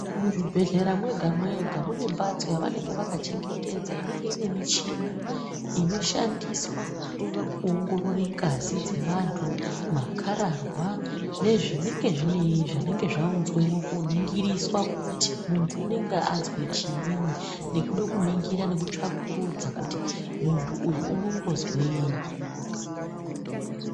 Muzvibhedhlera mwega mwega mune mbatso yavanenge vakachengetedza inenge ine michini inoshandiswa kuoongorore ngazi dzevantu, makararwa nezvinenge zvaunzwemo ko ningiriswa kuti muntu unenge azwe chiinyi nekude kuningira nekutsvakurudza kuti muntu uyu unombozwenyi.